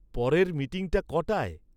পরের মিটিংটা কটায়?